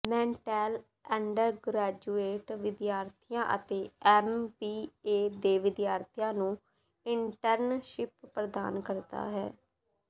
Mattel undergraduate ਵਿਦਿਆਰਥੀਆਂ ਅਤੇ M B A ਦੇ ਵਿਦਿਆਰਥੀਆਂ ਨੂੰ ਇੰਟਰਨਸ਼ਿਪ ਪ੍ਰਦਾਨ ਕਰਦਾ ਹੈ